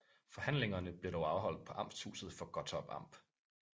Forhandlingerne blev dog afholt på amtshuset for Gottorp Amt